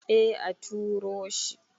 eh a turo shi